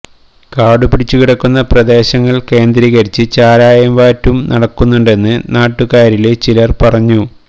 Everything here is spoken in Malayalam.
കാടുപിടിച്ച് കിടക്കുന്ന പ്രദേശങ്ങള് കേന്ദ്രീകരിച്ച് ചാരായവാറ്റും നടക്കുന്നുണ്ടെന്ന് നാട്ടുകാരില് ചിലര് പറഞ്ഞു